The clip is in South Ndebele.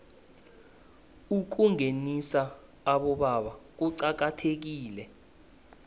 ukungenisa abobaba kuqakathekile